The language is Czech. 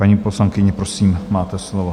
Paní poslankyně, prosím, máte slovo.